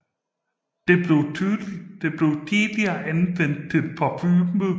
Det blev tidligere anvendt til parfume